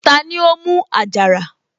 Tani ó mú àjàrà?